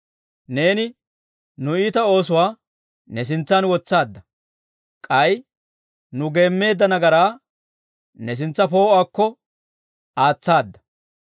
Neeni nu iita oosuwaa ne sintsan wotsaadda; k'ay nu geemmeedda nagaraa ne sintsa poo'uwaakko aatsaada.